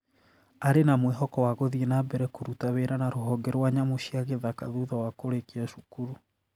Arĩ na mwĩhoko wa gũthiĩ na mbere kũruta wĩra na rũhonge rwa nyamũ cia gĩthaka thutha wa kũrĩkia cukuru.